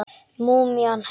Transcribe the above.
Múmían jánkar.